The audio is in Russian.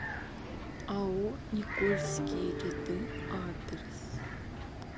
ао никольские ряды адрес